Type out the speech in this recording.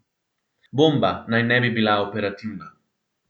Bomba naj ne bi bila operativna.